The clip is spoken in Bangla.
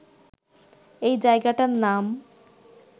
এই জায়গাটার নাম